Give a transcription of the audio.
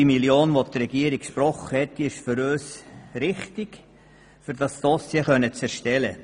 Die von der Regierung gesprochene Million ist für uns richtig, damit das Dossier erstellt werden kann.